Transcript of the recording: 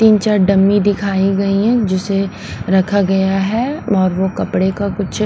तीन चार डम्मी दिखाई गई है जिसे रखा गया है और वो कपड़े का कुछ।